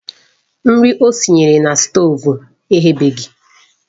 Nri o sinyere na stoovu eghebeghi